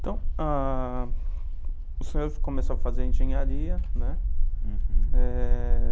Então, o senhor começou a fazer engenharia, né? Hurum. É.